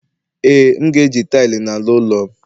ee, m ga-eji taịlị n'ala ụlọ'm